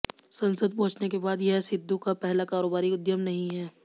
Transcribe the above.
संसद पहुंचने के बाद यह सिद्घू का पहला कारोबारी उद्यम नहीं है